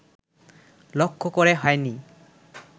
লক্ষ্য করে হয়নি